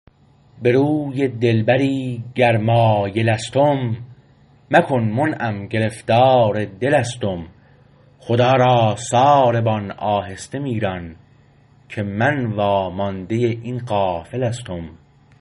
به روی دلبری گر مایلستم مکن منعم گرفتار دلستم خدا را ساربان آهسته می ران که مو وامانده این قافله ستم